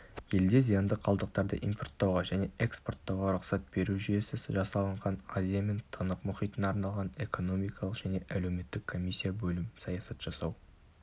елде зиянды қалдықтарды импорттауға және экспорттауға рұқсат беру жүйесі жасалынған азия мен тынық мұхитына арналған экономикалық және әлеуметтік комиссия бөлім саясат жасау